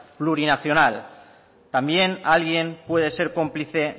plurinacional también alguien puede ser cómplice